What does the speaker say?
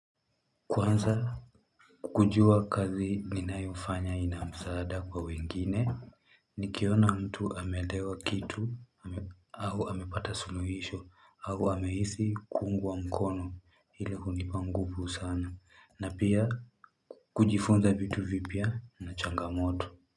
Kwanza kujua kazi ninayofanya ina msaada kwa wengine, nikiona mtu amelewa kitu, au amepata suluhisho, au amehisi kuungwa mkono ili kunipa nguvu sana, na pia kujifunza vitu vipya na changamoto.